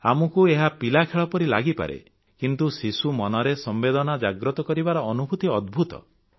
ଆମକୁ ଏହା ପିଲାଖେଳ ପରି ଲାଗିପାରେ କିନ୍ତୁ ଶିଶୁ ମନରେ ସମ୍ବେଦନା ଜାଗ୍ରତ କରିବାର ଅନୁଭୂତି ଅଦ୍ଭୁତ